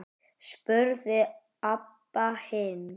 spurði Abba hin.